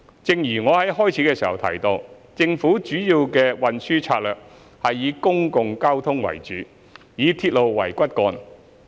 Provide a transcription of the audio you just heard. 正如我在開首時提到，政府主要的運輸政策是以公共交通為主，以鐵路為骨幹。